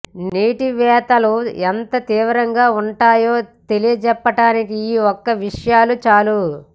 నీటి వెతలు ఎంత తీవ్రంగా ఉంటాయో తెలియజెప్పటానికి ఈ ఒక్క విషయాలు చాలు